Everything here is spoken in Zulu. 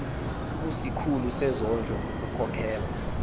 kusikhulu sezondlo ngokukhokhela